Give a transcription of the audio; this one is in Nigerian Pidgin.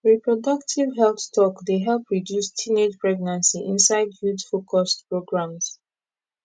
reproductive health talk dey help reduce teenage pregnancy inside youthfocused programs